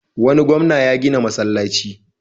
Wani gwamna ya gina masallaci.